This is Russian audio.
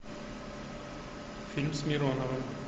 фильм с мироновым